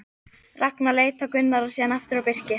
Ragnar leit á Gunnar og síðan aftur á Birki.